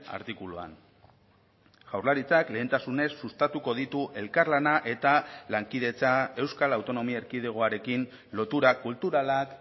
artikuluan jaurlaritzak lehentasunez sustatuko ditu elkarlana eta lankidetza euskal autonomia erkidegoarekin lotura kulturalak